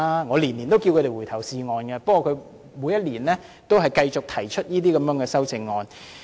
我每年也請他們回頭是岸，不過他們每年也繼續提出這些修正案。